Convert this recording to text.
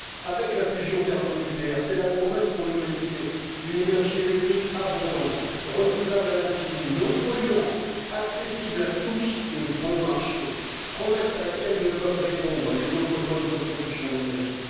Avec la fusion thermonucléaire, c'est la promesse pour l'humanité d'une énergie électrique abondante, renouvelable à l'infini, non polluante, accessible à tous et bon marché promesse à laquelle ne peuvent répondre les autres modes de production d'énergie.